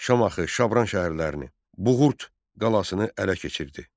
Şamaxı, Şabran şəhərlərini, Buğurt qalasını ələ keçirtdi.